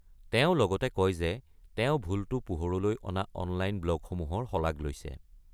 তেওঁ লগতে কয় যে তেওঁ ভুলটো পোহৰলৈ অনা অনলাইন ব্লগসমূহৰ শলাগ লৈছে।